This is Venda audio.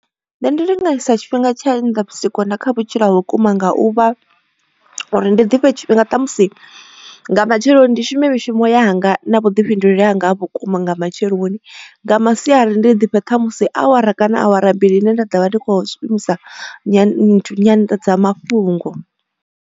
Nṋe ndi linganyisa tshifhinga tsha kha vhutshilo ha vhukuma nga u vha uri ndi difhe tshifhinga ṱhamusi nga matsheloni ndi shume mishumo yanga na vhuḓifhinduleli hanga ha vhukuma nga matsheloni, nga masiari ndi ḓifhe ṱhamusi awara kana awara mbili ine nda ḓovha ndi kho shumisa nyanḓadzamafhungo.